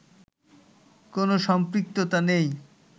কোন সম্পৃক্ততা নেই